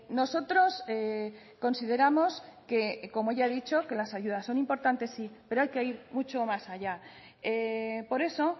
nosotros consideramos como ya he dicho que las ayudas son importantes sí pero hay que ir mucho más allá por eso